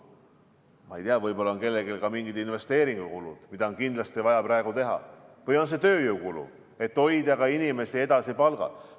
Ma ei tea, võib-olla on kellelgi ka mingid investeeringukulud, mida on kindlasti vaja praegu teha, või on see tööjõukulu, selleks et hoida inimesi edasi palgal.